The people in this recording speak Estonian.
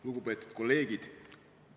Lugupeetud kolleegid!